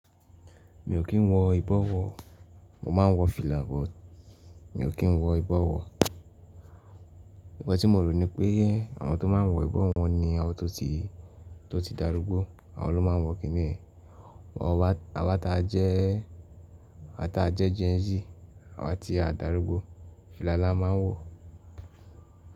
Mi ò kí n wọ ìbọrun, mo ma wọ fìlà bọ̀. Mi ò kí n wọ ìbọrun. Nkan tí mo rò ni pé àwọn tó ma wọ ìbọrun ni àwọn tó ti, tó ti darúgbó àwọn ló ma wọ̀ kíni. Àwa ta jẹ́, àwa ta jẹ́ Gen Z, àwa tí a dàrúgbó fìlà la ma wọ̀.